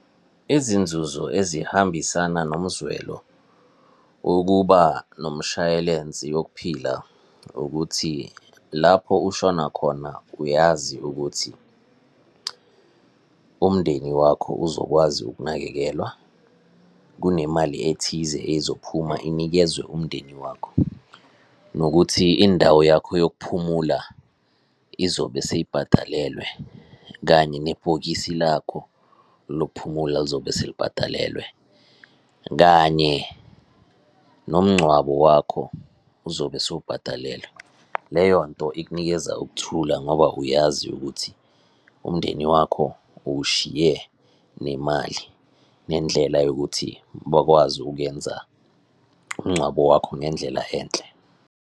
Izinzuzo ezihambisana nomzwelo wokuba nomshayelensi wokuphila ukuthi lapho ushona khona uyazi ukuthi umndeni wakho uzokwazi ukunakekelwa, kunemali ethize ezophuma inikezwe umndeni wakho, nokuthi indawo yakho yokuphumula izobe seyibhadalelwe, kanye nebhokisi lakho lokuphumula lizobe selibhadalelwe, kanye nomngcwabo wakho uzobe sowubhadalelwe. Leyo nto ikunikeza ukuthula ngoba uyazi ukuthi umndeni wakho uwushiye nemali, nendlela yokuthi bakwazi ukuyenza umngcwabo wakho ngendlela enhle.